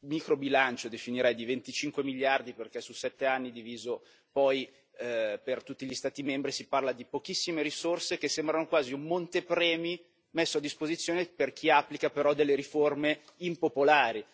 microbilancio, lo definirei, di 25 miliardi, perché su 7 anni diviso per tutti gli Stati membri si parla di pochissime risorse, che sembrano quasi un montepremi messo a disposizione di chi applica delle riforme impopolari.